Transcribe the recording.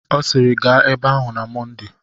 Ọ sịịrị, gaa ebe ahụ na Mọnde.